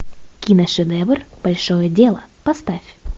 киношедевр большое дело поставь